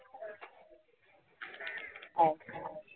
अच्छा